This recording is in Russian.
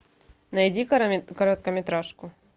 найди короткометражку